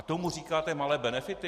A tomu říkáte malé benefity?